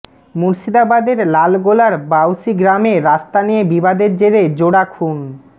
মুর্শিদাবাদের লালগোলার বাউসি গ্রামে রাস্তা নিয়ে বিবাদের জেরে জোড়া খুন